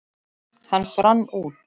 Hann brann út.